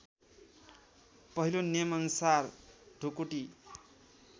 पहिलो नियमअनुसार ढुकुटी